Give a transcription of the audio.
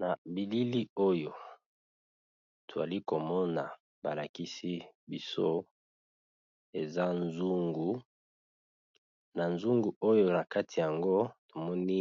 Na bilili oyo twali komona ba lakisi biso eza nzungu, na nzungu oyo na kati yango tomoni